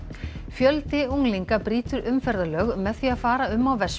fjöldi unglinga brýtur umferðarlög með því að fara um á